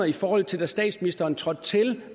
i forhold til da statsministeren trådte til